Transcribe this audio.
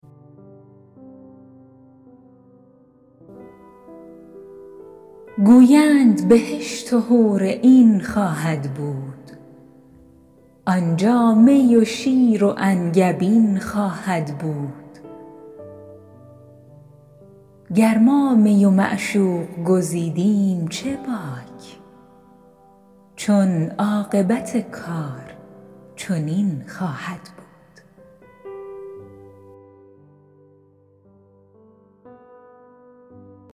گویند بهشت و حورعین خواهد بود آنجا می و شیر و انگبین خواهد بود گر ما می و معشوق گزیدیم چه باک چون عاقبت کار چنین خواهد بود